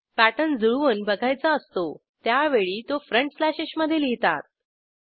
pattern जुळवून बघायचा असतो त्यावेळी तो फ्रंट slashesमधे लिहितात